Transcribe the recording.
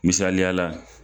Misaliyala